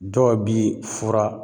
Dɔw bi fura